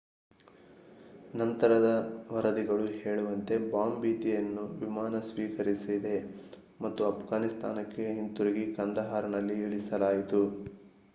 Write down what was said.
ನಂತರದ ವರದಿಗಳು ಹೇಳುವಂತೆ ಬಾಂಬ್ ಭೀತಿಯನ್ನು ವಿಮಾನ ಸ್ವೀಕರಿಸಿದೆ ಮತ್ತು ಅಫ್ಘಾನಿಸ್ತಾನಕ್ಕೆ ತಿರುಗಿಸಿ ಕಂದಹಾರ್‌ನಲ್ಲಿ ಇಳಿಸಲಾಯಿತು